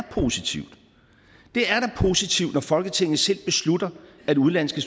positivt når folketinget selv beslutter at udenlandske